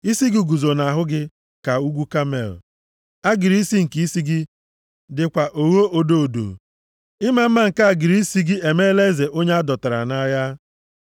Isi gị guzo nʼahụ gị ka ugwu Kamel. Agịrị isi nke isi gị dịkwa ogho odo odo. + 7:5 Ihe akpara akpa nke e jiri mara onye a na-enye nsọpụrụ Ịma mma nke agịrị isi gị emela eze onye a dọtara nʼagha.